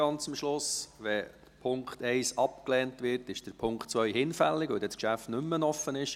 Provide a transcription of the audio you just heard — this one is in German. Wenn der Punkt 1 abgelehnt wird, ist der Punkt 2 hinfällig, weil dann das Geschäft nicht mehr offen ist.